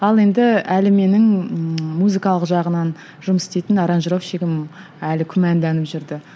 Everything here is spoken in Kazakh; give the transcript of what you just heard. ал енді әлі менің ммм музыкалық жағынан жұмыс істейтін аранжировщигім әлі күмәнданып жүрді